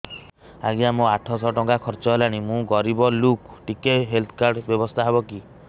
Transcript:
ଆଜ୍ଞା ମୋ ଆଠ ସହ ଟଙ୍କା ଖର୍ଚ୍ଚ ହେଲାଣି ମୁଁ ଗରିବ ଲୁକ ଟିକେ ହେଲ୍ଥ କାର୍ଡ ବ୍ୟବସ୍ଥା ହବ କି